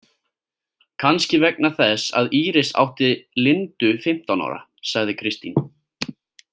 Kannski vegna þess að Íris átti Lindu fimmtán ára, sagði Kristín.